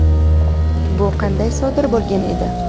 Bu qanday sodir bo‘lgan edi?.